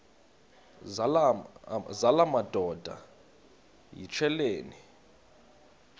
zala madoda yityesheleni